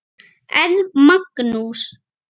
En Magnús